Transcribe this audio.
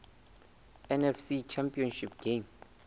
nfc championship game